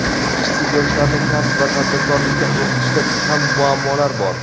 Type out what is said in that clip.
ishsiz yoshlarni kasb va tadbirkorlikka o‘qitishda ham muammolar bor.